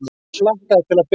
Hann hlakkaði til að byrja.